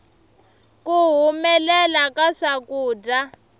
ku humelela ka swakudya